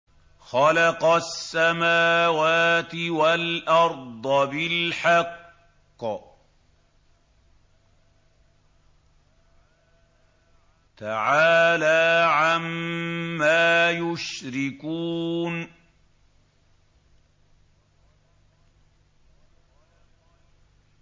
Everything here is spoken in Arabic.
خَلَقَ السَّمَاوَاتِ وَالْأَرْضَ بِالْحَقِّ ۚ تَعَالَىٰ عَمَّا يُشْرِكُونَ